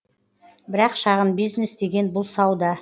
бірақ шағын бизнес деген бұл сауда